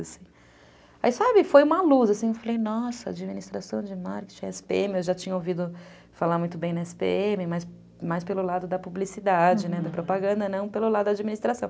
Aí, sabe, foi uma luz, assim, eu falei, nossa, administração de marketing, esse pê eme, eu já tinha ouvido falar muito bem na esse pê eme, mas pelo lado da publicidade, da propaganda, não pelo lado da administração.